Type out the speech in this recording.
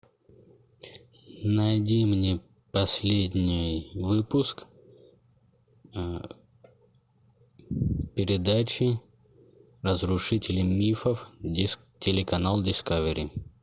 найди мне последний выпуск передачи разрушители мифов телеканал дискавери